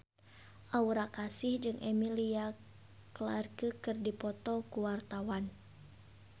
Aura Kasih jeung Emilia Clarke keur dipoto ku wartawan